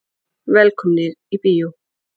Velkomnir í bíó.